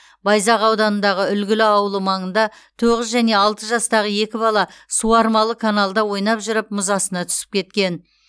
байзақ ауданындағы үлгілі ауылы маңында тоғыз және алты жастағы екі бала суармалы каналда ойнап жүріп мұз астына түсіп кеткен